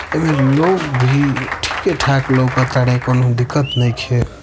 एमे लोग भी ठीके ठाक लौक ताड़े कौनो दिक्कत नइखे।